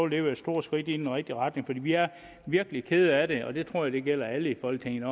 det være et stort skridt i den rigtige retning for vi er virkelig kede af det og det tror jeg gælder alle i folketinget